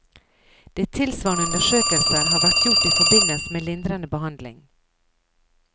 De fleste tilsvarende undersøkelser har vært gjort i forbindelse med lindrende behandling.